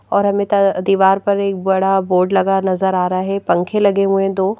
और हमें दीवार पर एक बड़ा बोर्ड लगा नजर आ रहा है पंखे लगे हुए हैं दो।